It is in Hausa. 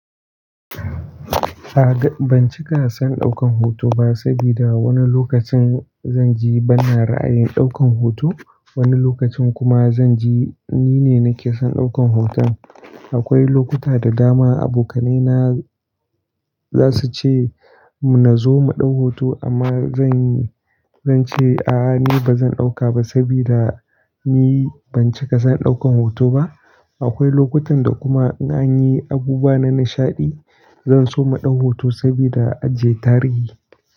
A ga, ban cika son ɗaukan hoto ba saboda wani lokacin zanji bana ra'ayin ɗaukan hoto, wani lokacin kuma zanji nine nake son ɗaukan hoton. Aƙwai lokuta da dama abokanaina zasu ce mu nazo mu ɗau hoto amma zan, zance a'a ni bazan ɗauka ba saboda ni ban cika son ɗaukan hoto ba. Aƙwai lokutan da kuma za'ayi abubuwa na nishaɗi, zanso mu ɗau hoto saboda ajiye tarihi.